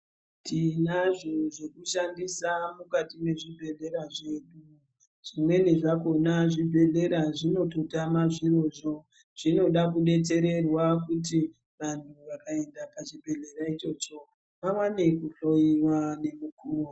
Tinazo zvekushandisa mukati mwezvibhedhleya zvedu zvimweni zvakona zvibhedhlera zvinototama zvirozvo. Zvinoda kubetsererwa kuti vantu vakaenda pachibhedhlera ichocho vaone kuhloiva nemukuvo.